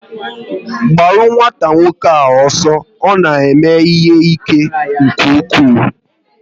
Gbaru nwata nwoke ahụ ọsọ, ọ na eme ihe ike nke ụkwụ!